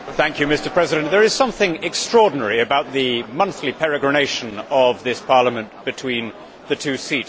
Mr President, there is something extraordinary about the monthly peregrination of this Parliament between the two seats.